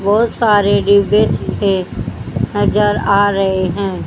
बहोत सारे डिब्बे सीब्बे है नजर आ रहे हैं।